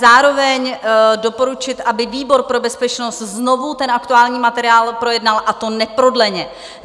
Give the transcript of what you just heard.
Zároveň doporučit, aby výbor pro bezpečnost znovu ten aktuální materiál projednal, a to neprodleně.